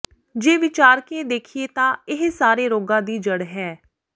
ਜੇ ਵਿਚਾਰਕੇ ਦੇਖੀਏ ਤਾਂ ਇਹ ਸਾਰੇ ਰੋਗਾਂ ਦੀ ਜੜ੍ਹ ਹੈ